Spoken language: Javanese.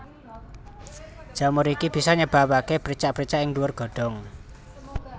Jamur iki bisa nyebabaké bercak bercak ing dhuwur godhong